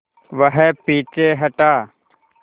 वह पीछे हटा